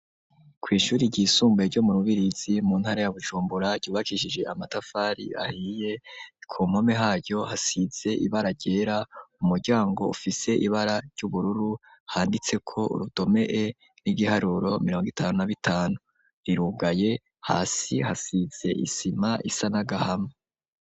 Kw'ishure ryisumbuye ryo mu Rubirizi mu ntara ya Bujumbura, ryubakishije amatafari ahiye, ku mpome haryo hasize ibara ryera, umuryango ufise ibara ry'ubururu handitseko urudome E n'ibiharuro mirongo itanu na bitanu, rirugaye hasi hasize isima isa n'agahama.